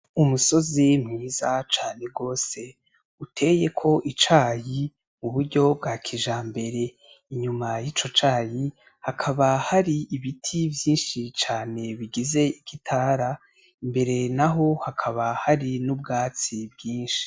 Umusozi mwiza cane gose uteyeko icayi mu buryo bwa kijambere, inyuma yico cayi hakaba hari ibiti vyinshi cane bigize igitara imbere naho hakaba hari n'ubwatsi bwinshi.